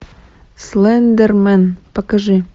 слендермен покажи